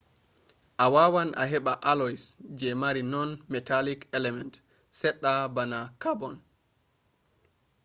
a wawan a heɓa alloys je mari non-metallic element seɗɗa bana karbon